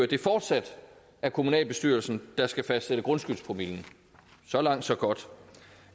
det fortsat er kommunalbestyrelsen der skal fastsætte grundskyldspromillen så langt så godt